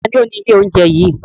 Taàní ó ní ilé oúnjẹ yìí?